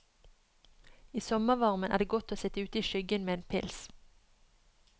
I sommervarmen er det godt å sitt ute i skyggen med en pils.